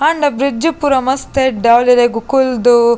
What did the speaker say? ಆಂಡ ಬ್ರಿಡ್ಜ್ ಪೂರ ಮಸ್ತ್ ಎಡ್ದೆ ಅವುಲು ಇರೆಗ್ ಕುಲ್ದು--